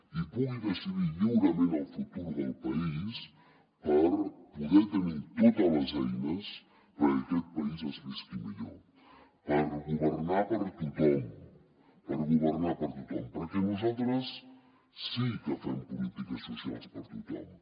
i pugui decidir lliurement el futur del país per poder tenir totes les eines perquè a aquest país es visqui millor per governar per a tothom perquè nosaltres sí que fem polítiques socials per a tothom